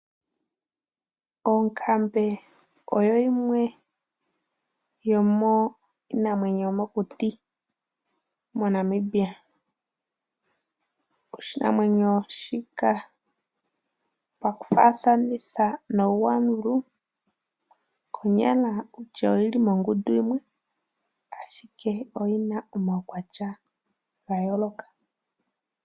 Onkambe oyo yimwe yominamwenyo yomokuti moNamibia, oshinamwenyo shika paku fathanitha nongwalulu konyala oyili mongundu yimwe, ashike oyina omawukwatya ngayoloka.